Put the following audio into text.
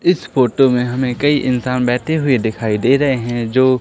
इस फोटो में हमें कई इंसान बैठे हुए दिखाई दे रहे हैं जो--